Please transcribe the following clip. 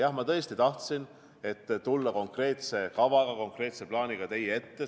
Jah, ma tahtsin tõesti tulla teie ette konkreetse kavaga, konkreetse plaaniga.